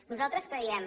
nosaltres creiem